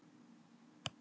Súkkulaði ætti að ilma.